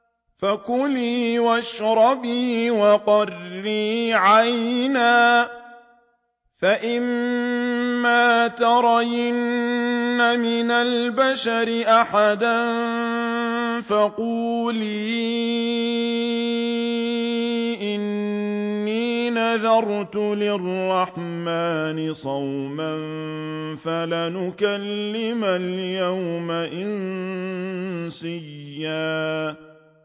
فَكُلِي وَاشْرَبِي وَقَرِّي عَيْنًا ۖ فَإِمَّا تَرَيِنَّ مِنَ الْبَشَرِ أَحَدًا فَقُولِي إِنِّي نَذَرْتُ لِلرَّحْمَٰنِ صَوْمًا فَلَنْ أُكَلِّمَ الْيَوْمَ إِنسِيًّا